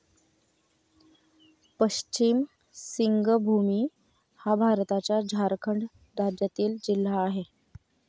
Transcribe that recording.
पश्चिम सिंगभूमी हा भारताच्या झारखंड राज्यातील जिल्हा आहे.